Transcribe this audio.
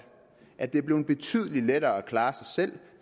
at det er blevet betydelig lettere at klare sig selv